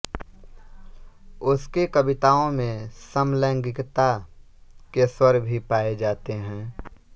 उसकी कविताओं में समलैंगिकता के स्वर भी पाए जाते हैं